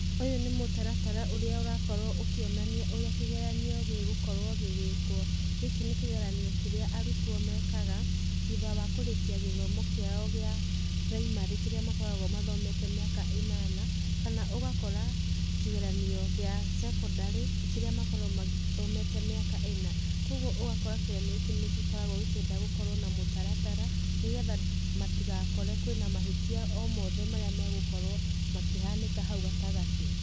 Ũyũ nĩ mũtaratara ũrĩa ũrakorwo ũkĩonania ũrĩa kĩgeranio gĩgũkorwo gĩgĩkwo. Gĩkĩ nĩ kĩgeranio kĩrĩa arutwo mekaga thutha wa kũrĩkia gĩthomo kĩao kĩa primary, kĩrĩa makoragwo mathomete miaka ĩnana kana ũgakora kĩgeranio kĩa cekondarĩ kĩrĩa makoragwo mathomete mĩaka ĩna, Kogwo ũgakora kĩgeranio gĩkĩ nĩkĩenda gĩgakorwo na mũtaratara nĩgetha matigakore kwĩ na mahĩtia o mothe marĩa megũkorwo makĩhanĩka haũ gatagatĩ.